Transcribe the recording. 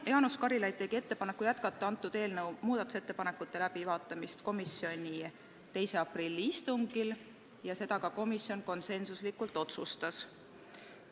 Jaanus Karilaid tegi ettepaneku jätkata eelnõu muudatusettepanekute läbivaatamist komisjoni 2. aprilli istungil ja nii komisjon konsensuslikult ka otsustas.